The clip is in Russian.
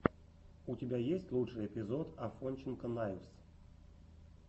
у тебя есть лучший эпизод афонченко найвз